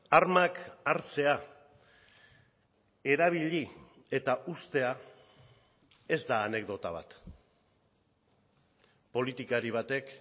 armak hartzea erabili eta uztea ez da anekdota bat politikari batek